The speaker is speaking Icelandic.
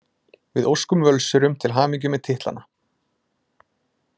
Við óskum Völsurum til hamingju með titlana!